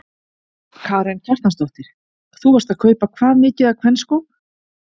Karen Kjartansdóttir: Þú varst að kaupa hvað mikið af kvenskóm?